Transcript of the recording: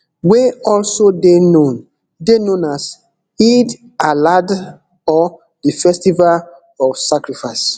wey also dey known dey known as eid aladha or di festival of sacrifice